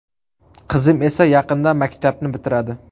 Qizim esa yaqinda maktabni bitiradi.